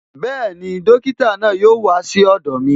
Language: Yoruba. Bẹẹni, dókítà náà yóò wá sí ọ̀dọ̀ mi